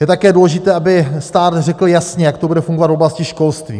Je také důležité, aby stát řekl jasně, jak to bude fungovat v oblasti školství.